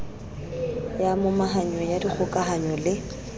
ya momahanyo ya dikgokahanyo le